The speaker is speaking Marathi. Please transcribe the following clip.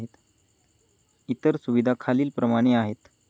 इतर सुविधा खालील प्रमाणे आहेत.